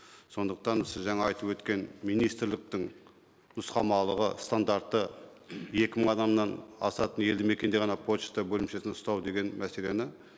сондықтан сіз жаңа айтып өткен министрліктің нұсқамалығы стандарты екі мың адамнан асатын елді мекенде ғана пошта бөлімшесін ұстау деген мәселені